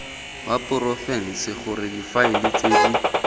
wa porofense gore difaele tse